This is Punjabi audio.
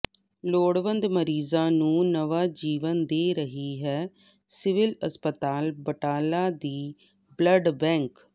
ਲੋੜਵੰਦ ਮਰੀਜ਼ਾਂ ਨੂੰ ਨਵਾਂ ਜੀਵਨ ਦੇ ਰਹੀ ਹੈ ਸਿਵਲ ਹਸਪਤਾਲ ਬਟਾਲਾ ਦੀ ਬਲੱਡ ਬੈਂਕ